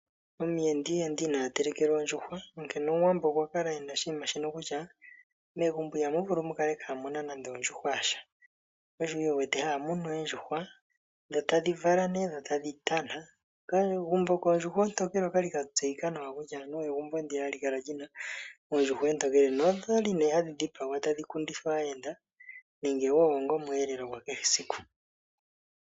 Omuyenda ihe ende ina telekelwa ondjuhwa. Onkene omuWambo okwa kala ena oshinima shono kutya megumbo ihamu vulu mukale kamuna nande ondjuhwa yasha oshone wu wete haya munu oondjuhwa dho tadhi vala ne dhotadhi tana. Omagumbo goondjuhwa oontokele okwali ga tseyikwa nawa anuwa egumbo ndjiya hali kala lina oondjuhwa oontokele nodhali ne hadhi dhipagelwa etadhi ku ndithwa aayenda nenge wo onga omwelelo gwa kehe esiku.